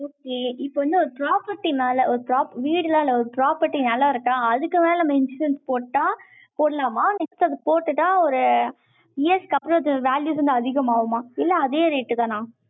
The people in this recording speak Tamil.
இப்ப வந்து, ஒரு property மேல, ஒரு வீடுலாம் இல்ல, ஒரு property நிலம் இருக்கா? அதுக்கு மேல, நம்ம insurance போட்டா, போடலாமா? next அது போட்டுட்டா, ஒரு, years க்கு அப்புறம், அது, values வந்து, அதிகமாகுமா? இல்ல, அதே rate தானா